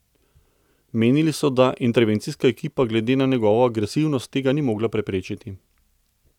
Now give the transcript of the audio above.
Menili so, da intervencijska ekipa glede na njegovo agresivnost tega ni mogla preprečiti.